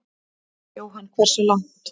Jóhanna: Hversu langt?